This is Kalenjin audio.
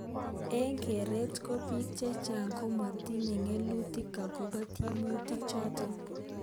Eng keret ko bik chechang komatinye keletuk akobo tiemutik chotok.